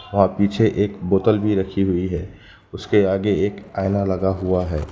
वहां पीछे एक बोतल भी रखी हुई है उसके आगे एक आईना लगा हुआ है।